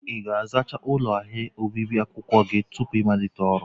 Ị ga-azachaa ụlọ ahịa obibi akwụkwọ gị tupu ịmalite ọrụ?